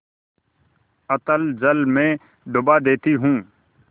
अतल जल में डुबा देती हूँ